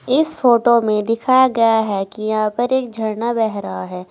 इस फोटो में दिखाया गया है कि यहां पर एक झरना बह रहा है।